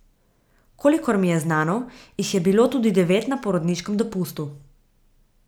Kakor mi je znano, jih je bilo tudi devet na porodniškem dopustu.